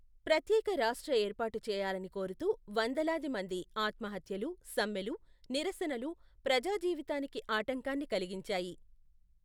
ప్రత్యేక రాష్ట్ర ఏర్పాటు చేయాలని కోరుతూ వందలాది మంది ఆత్మహత్యలు, సమ్మెలు, నిరసనలు, ప్రజాజీవితానికి ఆటంకాన్ని కలిగించాయి.